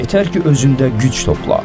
Yetər ki, özündə güc topla.